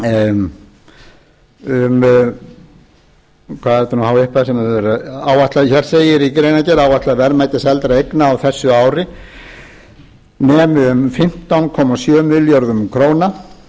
um hvað er þetta nú há upphæð sem er verið að áætla hér segir í greinargerð áætlað verðmæti seldra eigna á þessu ári nemi um fimmtán komma sjö milljörðum króna og